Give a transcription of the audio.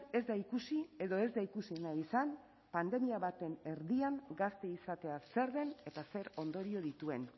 ez da ikusi edo ez da ikusi nahi izan pandemia baten erdian gazte izatea zer den eta zer ondorio dituen